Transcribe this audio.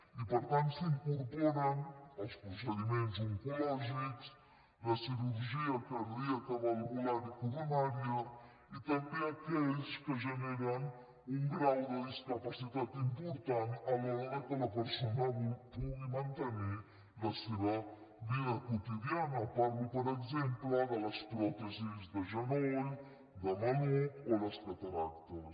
i per tant s’incorporen els procediments oncològics la cirurgia cardíaca valvular i coronària i també aquells que generen un grau de discapacitat important a l’hora que la persona pugui mantenir la seva vida quotidiana parlo per exemple de les pròtesis de genoll de maluc o les cataractes